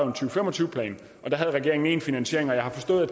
og fem og tyve plan og da havde regeringen én finansiering jeg har forstået at